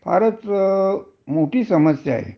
पेक्षा फारच मोठी समस्या आहे